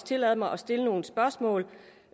tillade mig at stille nogle spørgsmål